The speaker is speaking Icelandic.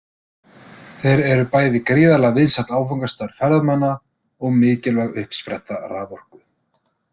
Þeir eru bæði gríðarlega vinsæll áfangastaður ferðamanna og mikilvæg uppspretta raforku.